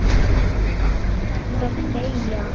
Þú þarft að deyja.